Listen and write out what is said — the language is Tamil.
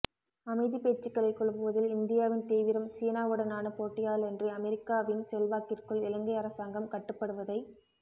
அமைதிப் பேச்சுக்களைக் குழப்புவதில் இந்தியாவின் தீவிரம் சீனாவுடனான போட்டியாலன்றி அமெரிக்கவின் செல்வாக்கிற்குள் இலங்கை அரசாங்கம் கட்டுப்படுவதைத்